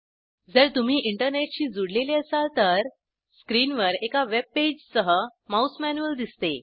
जर तुम्ही इंटरनेटशी जुडलेले असाल तर स्क्रीनवर एका वेब पेजसह माउस मॅन्युअल दिसते